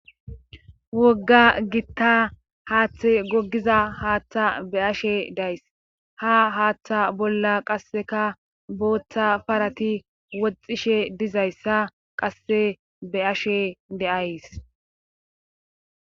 wogga gitta haaththe gogiza haattha be ashe days ha haattha bolla qasseka boottha parati woxxishe dizayssa qasse be ashe de7ays